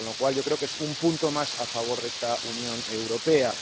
Yo creo que es un punto más a favor de esta Unión Europea.